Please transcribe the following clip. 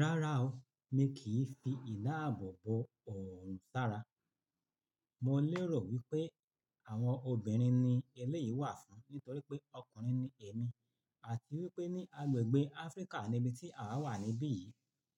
Rárá ooo, mi kì fi ìdáàbòbò òrun sara. Mo lérò wípé àwọn obìnrin ni eléyìí wà fún nítorí pé ọkùnrin ni èmi àti wípé ní agbègbè Áfríkà níbi tí àwa wà níbí yìí,